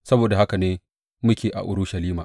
Saboda haka ne muke a Urushalima.